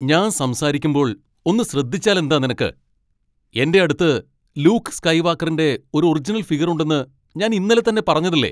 ഞാൻ സംസാരിക്കുമ്പോൾ ഒന്ന് ശ്രദ്ധിച്ചാലെന്താ നിനക്ക്, എൻ്റെ അടുത്ത് ലൂക്ക് സ്കൈവാക്കറിൻ്റെ ഒരു ഒറിജിനൽ ഫിഗർ ഉണ്ടെന്ന് ഞാൻ ഇന്നലെ തന്നെ പറഞ്ഞതല്ലേ?